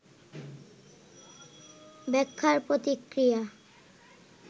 ব্যাখ্যার প্রতিক্রিয়া